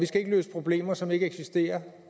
skal løse problemer som ikke eksisterer